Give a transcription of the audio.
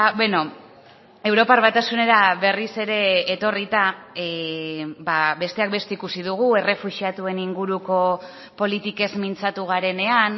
beno europar batasunera berriz ere etorrita besteak beste ikusi dugu errefuxiatuen inguruko politikez mintzatu garenean